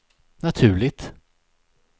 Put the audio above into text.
naturligt